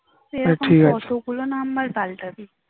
তুই এখন কতগুলা number পাল্টাবি